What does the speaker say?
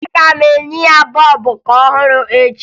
Aga m enye ya bọọbụ ọhụrụ echi